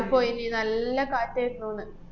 ~പോയീന്, നല്ല കാറ്റാര്ന്നൂന്ന്.